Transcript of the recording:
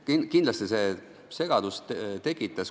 Kindlasti see segadust tekitas.